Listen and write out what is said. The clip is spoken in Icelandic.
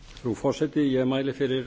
frú forseti ég mæli fyrir